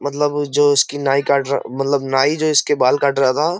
मतलब जो इसकी नाई काट रहा मतलब नाई जो इसके बाल काट रहा था।